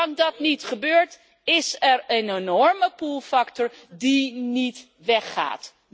Zolang dat niet gebeurt, is er een enorme pullfactor die niet weggaat.